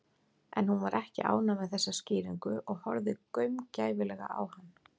En hún var ekki ánægð með þessa skýringu og horfði gaumgæfilega á hann.